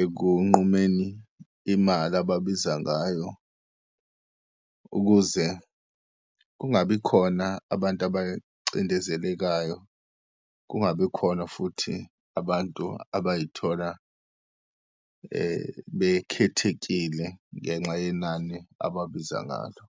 ekunqumeni imali ababiza ngayo, ukuze kungabikhona abantu abacindezelekayo, kungabikhona futhi abantu abayithola bekhethekile ngenxa yenani ababiza ngalo.